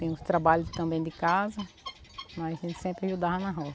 Tem uns trabalhos também de casa, mas a gente sempre ajudava na roça.